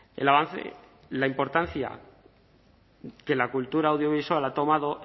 el avance la importancia que la cultura audiovisual ha tomado